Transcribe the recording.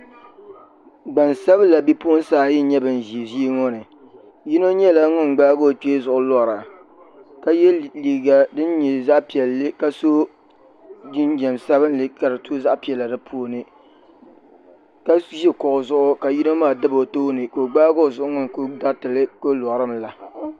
Gbansabila bipuɣunsi ayi n nyɛ bin ʒi ʒii ŋo ni yino nyɛla ŋun gbaagi o kpee zuɣu lora ka yɛ liiga din nyɛ zaɣ piɛlli ka so jinjɛm sabinli ka di to zaɣ piɛla di puuni ka ʒi kuɣu zuɣu ka yino maa dabi o tooni ka o gbaagi o zuɣu ku niŋ ka o dariti limi la